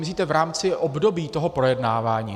Myslíte v rámci období toho projednávání?